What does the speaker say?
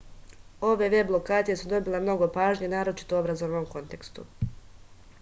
ove veb lokacije su dobile mnogo pažnje naročito u obrazovnom kontekstu